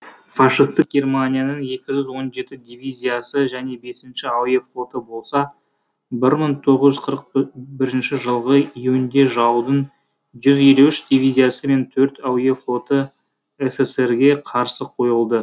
фашистік германияның екі жүз он жеті девизиясы және бес әуе флоты болса бір мың тоғыз жүз қырық бірінші жылғы июньде жаудың жүз елу үш дивизиясы мен төрт әуе флоты ссср ге қарсы қойылды